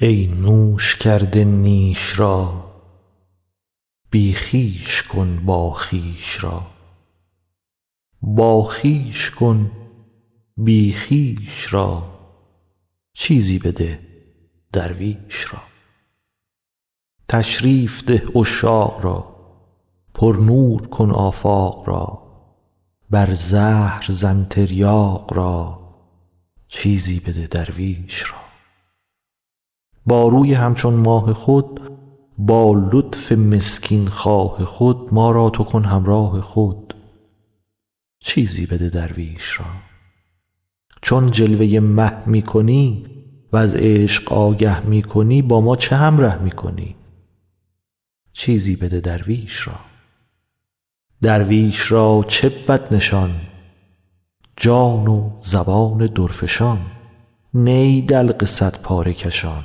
ای نوش کرده نیش را بی خویش کن باخویش را باخویش کن بی خویش را چیزی بده درویش را تشریف ده عشاق را پرنور کن آفاق را بر زهر زن تریاق را چیزی بده درویش را با روی همچون ماه خود با لطف مسکین خواه خود ما را تو کن همراه خود چیزی بده درویش را چون جلوه مه می کنی وز عشق آگه می کنی با ما چه همره می کنی چیزی بده درویش را درویش را چه بود نشان جان و زبان درفشان نی دلق صدپاره کشان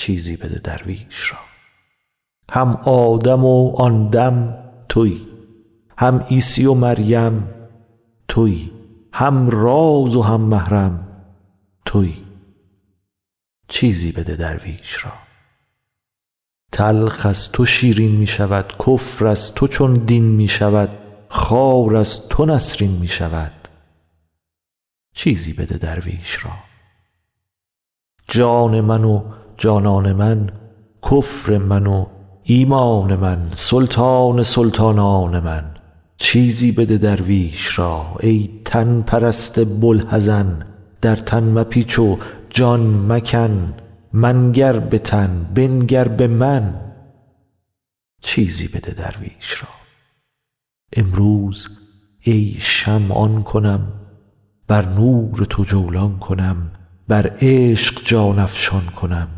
چیزی بده درویش را هم آدم و آن دم توی هم عیسی و مریم توی هم راز و هم محرم توی چیزی بده درویش را تلخ از تو شیرین می شود کفر از تو چون دین می شود خار از تو نسرین می شود چیزی بده درویش را جان من و جانان من کفر من و ایمان من سلطان سلطانان من چیزی بده درویش را ای تن پرست بوالحزن در تن مپیچ و جان مکن منگر به تن بنگر به من چیزی بده درویش را امروز ای شمع آن کنم بر نور تو جولان کنم بر عشق جان افشان کنم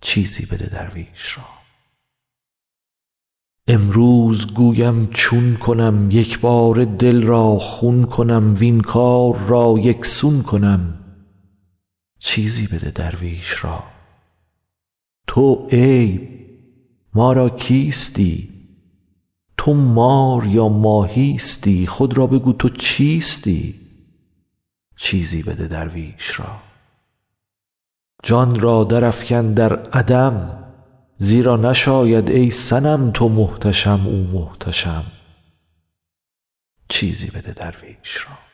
چیزی بده درویش را امروز گویم چون کنم یک باره دل را خون کنم وین کار را یک سون کنم چیزی بده درویش را تو عیب ما را کیستی تو مار یا ماهیستی خود را بگو تو چیستی چیزی بده درویش را جان را درافکن در عدم زیرا نشاید ای صنم تو محتشم او محتشم چیزی بده درویش را